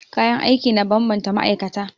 Kayan aiki na bambanta ma'aikata.